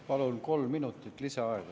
Palun kolm minutit lisaaega.